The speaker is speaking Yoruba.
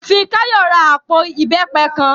Fikáyọ̀ ra àpò ìbẹ́pẹ kan